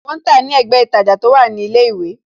Wọn ń tàá ní ẹ̀gbẹ́ ītajà tó wà ní ilé ìwé